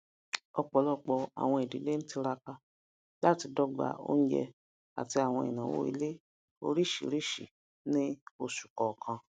ọpọlọpọ àwọn idílé ń tiraka láti dọgba onjẹ àti àwọn ináwó ilé oríṣìíríṣìí ní oṣù kọọkan